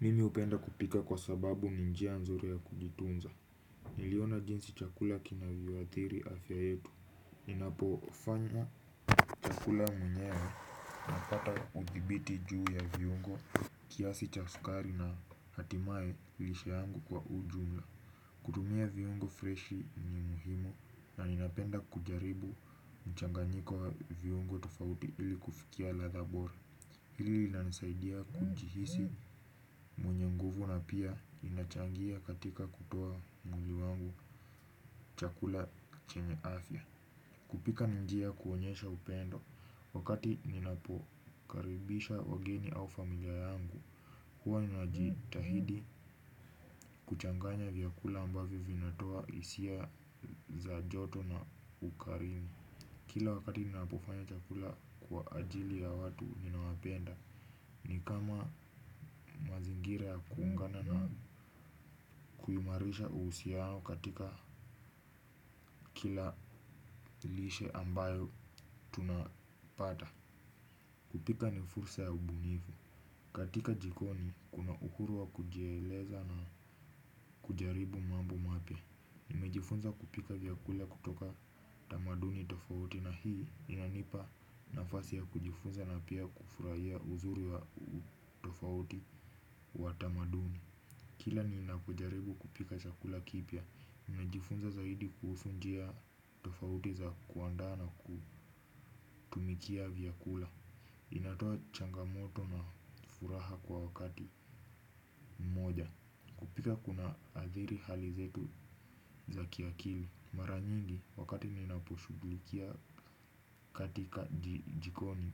Mimi hupenda kupika kwa sababu ni njia nzuri ya kujitunza. Niliona jinsi chakula kinavyo athiri afya yetu. Ninapo fanya chakula mwenyewe napata uthibiti juu ya viungo. Kiasi cha sukari na hatimaye lishe yangu kwa ujumla. Kutumia viungo freshi ni muhimu na ninapenda kujaribu mchanganyiko wa viongo tofauti ili kufikia ladha bora. Hili lina nisaidia kujihisi mwenye nguvu na pia linachangia katika kutoa nwili wangu chakula chenye afya. Kupika ni njia ya kuonyesha upendo, wakati ninapokaribisha wageni au familia yangu, huwa nina jitahidi kuchanganya vyakula ambavyo vinatoa hisia za joto na ukarimu. Kila wakati ninapofanya chakula kwa ajili ya watu ninawapenda. Ni kama mazingira ya kuungana na kuimarisha uhusiano katika kila lishe ambayo tunapata. Kupika ni fursa ya ubunifu. Katika jikoni kuna uhuru wa kujieleza na kujaribu mambo mapya. Nimejifunza kupika vyakula kutoka tamaduni tofauti na hii inanipa nafasi ya kujifunza na pia kufurahia uzuri wa utofauti wa tamaduni. Kila ninapojaribu kupika chakula kipya, nina jifunza zaidi kuhusu njia tofauti za kuandaa na kutumikia vyakula inatoa changamoto na furaha kwa wakati mmoja, pika kuna adhiri hali zetu za kiakili mara nyingi, wakati ninaposhughukia katika jikoni,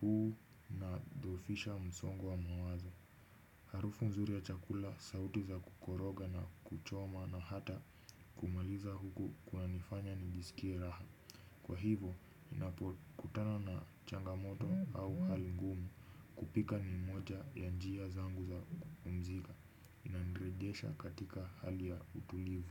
huu una dhofisha msongo wa mawazo. Harufu nzuri ya chakula, sauti za kukoroga na kuchoma na hata kumaliza huku kuna nifanya nijisikie raha. Kwa hivyo, ninapo kutana na changamoto au hali ngumu kupika ni moja ya njia zangu za kupumzika. Inani rejesha katika hali ya utulivu.